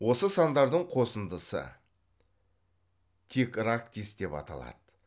осы сандардың қосындысы текрактис деп аталды